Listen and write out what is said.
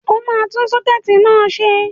Ó máa tún sọ́kẹ́ẹ̀tì náà ṣe.